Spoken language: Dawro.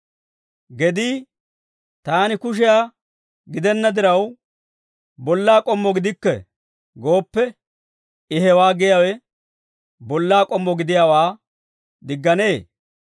Gedii, «Taani kushiyaa gidenna diraw, bollaa k'ommo gidikke» gooppe, I hewaa giyaawe bollaa k'ommo gidiyaawaa digganee?